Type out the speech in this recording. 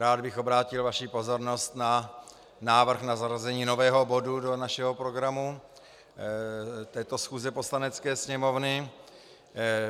Rád bych obrátil vaši pozornost na návrh na zařazení nového bodu do našeho programu této schůze Poslanecké sněmovny.